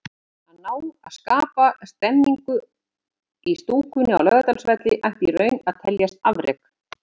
Að ná að skapa stemningu í stúkunni á Laugardalsvelli ætti í raun að teljast afrek.